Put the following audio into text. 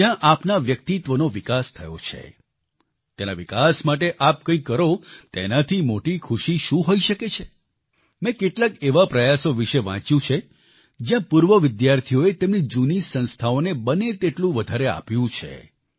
જ્યાં આપના વ્યક્તિત્વનો વિકાસ થયો છે ત્યાંના વિકાસ માટે આપ કંઈક કરો તેનાથી મોટી ખુશી શું હોઈ શકે છે મેં કેટલાક એવા પ્રયાસો વિશે વાંચ્યું છે જ્યાં પૂર્વ વિદ્યાર્થીઓએ તેમની જૂની સંસ્થાઓને બને તેટલું વધારે આપ્યું છે